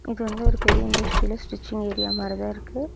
இது வந்து ஒரு பெரிய இண்டஸ்ட்ரியல ஸ்டிச்சிங் ஏரியா மாரி தா இருக்கு.